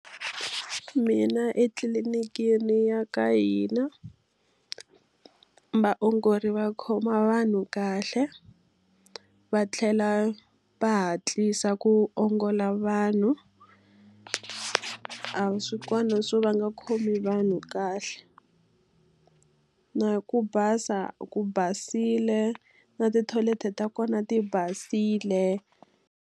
Mina etliliniki ya ka hina, vaongori va khoma vanhu kahle, va tlhela va hatlisa ku ongola vanhu. A swi kona swo va nga khomi vanhu kahle. Na ku basa ku basile, na tithoyileti ta kona ti basile.